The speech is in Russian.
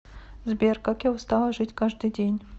сбер как я устала жить каждый день